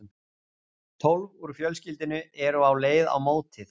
Tólf úr fjölskyldunni eru á leið á mótið.